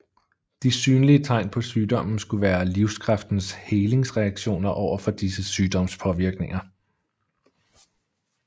De synlige tegn på sygdommen skulle være livskraftens helingsreaktioner overfor disse sygdomspåvirkninger